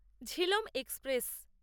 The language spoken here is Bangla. ঝিলম এক্সপ্রেস